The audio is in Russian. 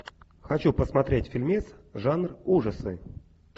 хочу посмотреть фильмец жанр ужасы